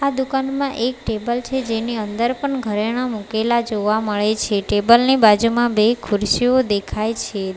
દુકાનમાં એક ટેબલ છે જેની અંદર પણ ઘરેણાં મુકેલા જોવા મળે છે ટેબલ ની બાજુમાં બે ખુરશીઓ દેખાય છે.